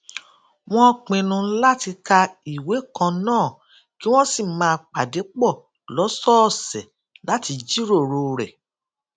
wón pinnu láti ka ìwé kan náà kí wón sì máa pàdé pò lósòòsè láti jíròrò rè